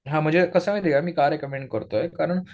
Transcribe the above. हां म्हणजे कसं आहे माहिती का मी का रेकमेंड करतोय, कारण